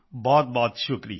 ਬਹੁਤ ਸ਼ੁਕਰੀਆ